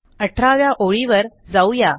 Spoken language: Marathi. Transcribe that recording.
अठराव्या ओळीवर जाऊ या